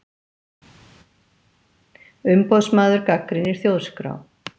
Umboðsmaður gagnrýnir Þjóðskrá